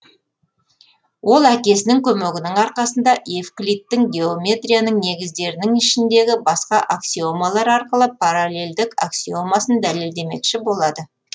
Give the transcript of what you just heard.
ол әкесінің көмегінің арқасында эвклидтің геометрияның негіздерінің ішіндегі басқа аксиомалар арқылы параллелдік аксиомасын дәлелдемекші болады